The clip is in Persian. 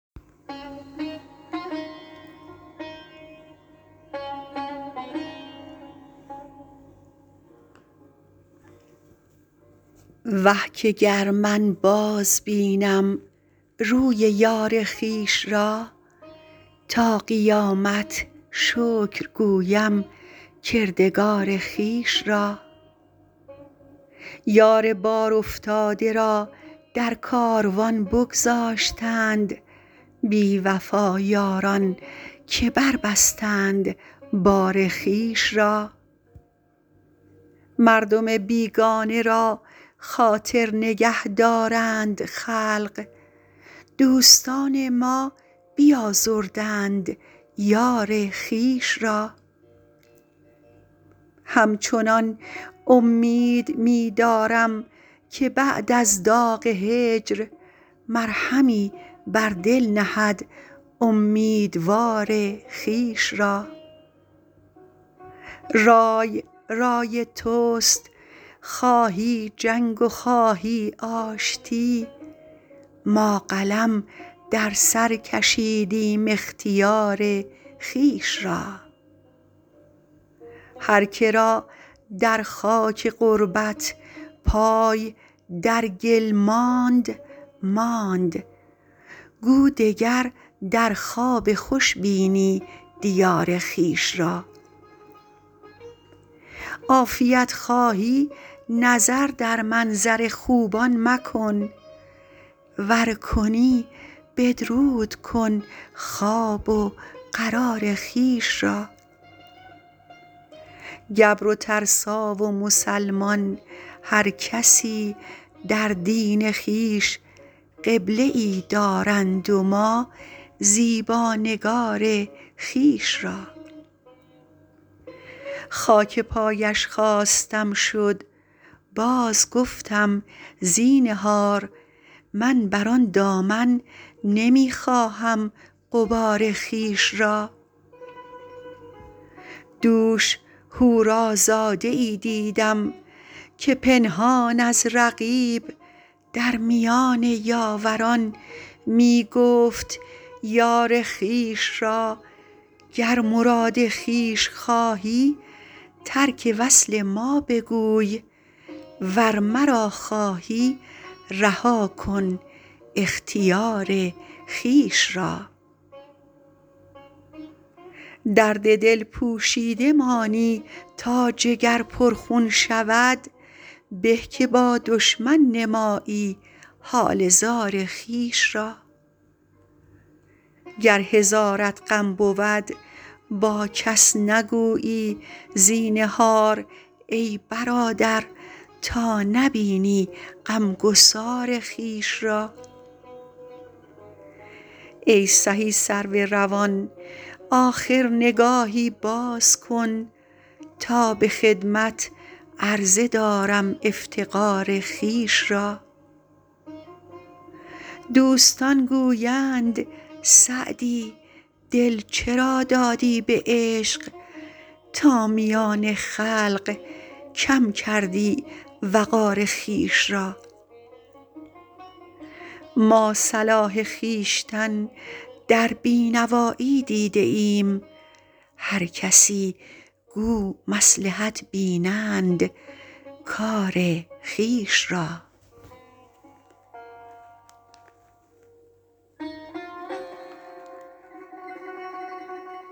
وه که گر من بازبینم روی یار خویش را تا قیامت شکر گویم کردگار خویش را یار بارافتاده را در کاروان بگذاشتند بی وفا یاران که بربستند بار خویش را مردم بیگانه را خاطر نگه دارند خلق دوستان ما بیازردند یار خویش را همچنان امید می دارم که بعد از داغ هجر مرهمی بر دل نهد امیدوار خویش را رای رای توست خواهی جنگ و خواهی آشتی ما قلم در سر کشیدیم اختیار خویش را هر که را در خاک غربت پای در گل ماند ماند گو دگر در خواب خوش بینی دیار خویش را عافیت خواهی نظر در منظر خوبان مکن ور کنی بدرود کن خواب و قرار خویش را گبر و ترسا و مسلمان هر کسی در دین خویش قبله ای دارند و ما زیبا نگار خویش را خاک پایش خواستم شد بازگفتم زینهار من بر آن دامن نمی خواهم غبار خویش را دوش حورازاده ای دیدم که پنهان از رقیب در میان یاوران می گفت یار خویش را گر مراد خویش خواهی ترک وصل ما بگوی ور مرا خواهی رها کن اختیار خویش را درد دل پوشیده مانی تا جگر پرخون شود به که با دشمن نمایی حال زار خویش را گر هزارت غم بود با کس نگویی زینهار ای برادر تا نبینی غمگسار خویش را ای سهی سرو روان آخر نگاهی باز کن تا به خدمت عرضه دارم افتقار خویش را دوستان گویند سعدی دل چرا دادی به عشق تا میان خلق کم کردی وقار خویش را ما صلاح خویشتن در بی نوایی دیده ایم هر کسی گو مصلحت بینند کار خویش را